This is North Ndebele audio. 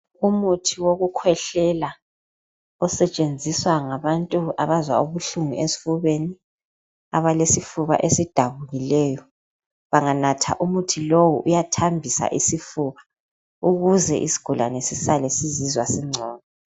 Umuthi wokukhwehlela osetshenziswa ngabantu abazwa ubuhlungu esifubeni, abalesifuba esidabukileyo banganatha umuthi lowo uyathambisa isifuba ukuze isigulane sisale sizizwa sesingcono.